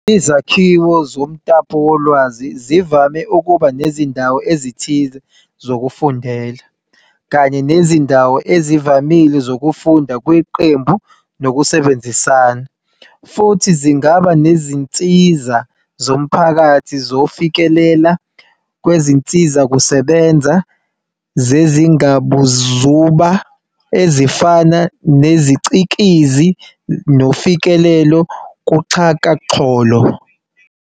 Izakhiwo zomtapowolwazi zivame ukuba nezindawo ezithile zokufundela, kanye nezindawo ezivamile zokufunda kweqembu nokusebenzisana, futhi zingaba nezinsiza zomphakathi zokufikelela kwizinsizakusebenza zezingabuzuba, ezifana neziCikizi nofikelelo kuxhakaxholo.